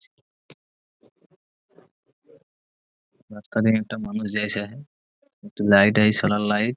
মাঝখানে একটা মানুষ জাইছে একটু লাইট এই সোলার লাইট ।